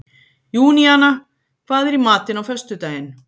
Júníana, hvað er í matinn á föstudaginn?